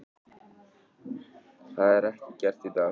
Það er ekki gert í dag.